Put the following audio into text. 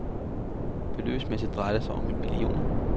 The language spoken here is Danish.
Beløbsmæssigt drejer det sig om en million.